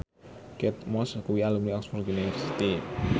Kate Moss kuwi alumni Oxford university